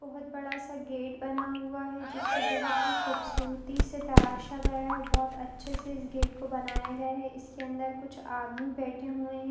ये एक बहोत ही खूबसूरत सैलून है पीछे की तिरफ वाइट कलर का पेंट किया हुआ है एक क्यू र कोड रखा हुआ है एक शोकेस के अंदर बहोत सारी बॉटल्स रखी हुई है एक वह बेसिन लगा --